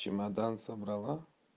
чемодан собрала